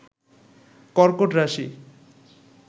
কর্কট রাশি